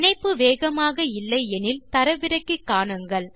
இணைப்பு வேகமாக இல்லை எனில் தரவிறக்கி காணுங்கள்